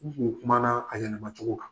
N kun kumana a yɛlɛmama cogo kan.